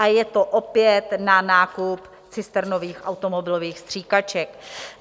A je to opět na nákup cisternových automobilových stříkaček.